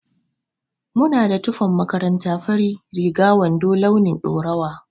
Muna da tufan makaranta farin riga da wando launin ɗaurawa